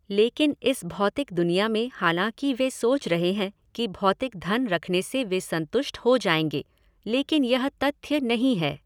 लेकिन इस भौतिक दुनिया में हालांकि वे सोच रहे हैं कि भौतिक धन रखने से वे संतुष्ट हो जाएंगे, लेकिन यह तथ्य नहीं है।